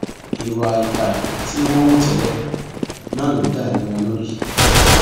gbogbo kí n tó jẹun àárò kí n le jẹ kí èémí mi máa dára